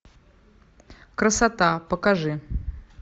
красота покажи